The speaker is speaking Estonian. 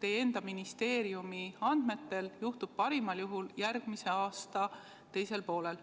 teie enda ministeeriumi andmetel juhtub parimal juhul järgmise aasta teisel poolel?